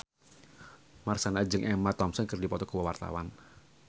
Marshanda jeung Emma Thompson keur dipoto ku wartawan